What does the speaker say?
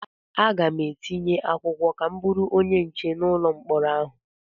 Aga m etinye akwụkwọ ka m bụrụ onye nche n'ụlọ mkpọrọ ahụ.